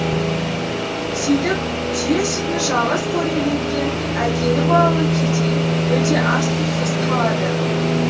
сөйтіп түйе сүтін жалғыз қорегі еткен әкелі балалы кедей мүлде ас сусыз қалады